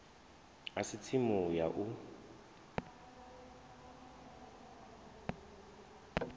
a si tsimu ya u